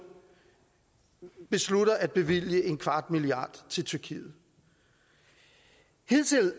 beslutter at bevilge en kvart milliard kroner til tyrkiet hidtil